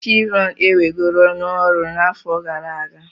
Chevron ewegoro n'ọrụ n'afọ gara aga.